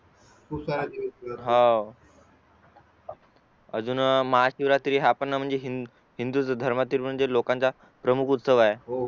हवं अजून महाशिवरात्री हा पण हिंदू धर्माचा लोकांचा प्रमुख उत्सव आहे